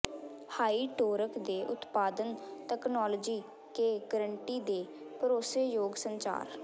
high torque ਦੇ ਉਤਪਾਦਨ technology ਕੇ ਗਾਰੰਟੀ ਦੇ ਭਰੋਸੇਯੋਗ ਸੰਚਾਰ